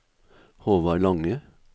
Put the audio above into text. Håvard Lange